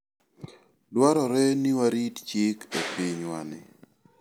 Dwarore ni warit chik e pinywani.